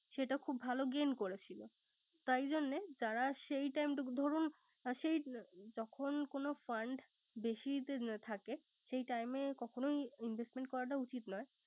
সেটা খুব ভালো Gain করেছিল। তাই জন্য যারা সেই time টুকু। দরুন সেই তখন কোন fund বেশি থাকে সেই time এ কখনোই investment করা উচিত নয়